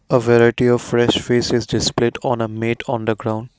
a variety of fresh fish is display to on meat on the ground.